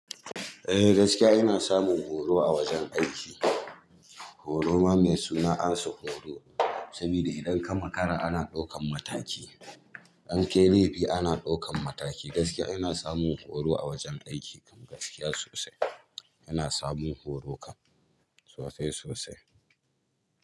Eh gaskiya ina samun horo a wajen aiki. Horo ma mai suna ansa horo. Sabida idan ka makara ana ɗaukan mataki, inkayi laifi ana ɗaukan mataki. Gaskiya ina samun horo a wajen aiki, gaskiya sosai ina samun horo kan sosai sosai.